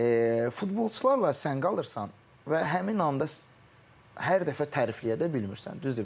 Və futbolçularla sən qalırsan və həmin anda hər dəfə tərifləyə də bilmirsən.